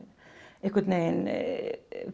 einhvern veginn